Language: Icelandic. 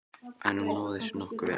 En hún náði sér nokkuð vel.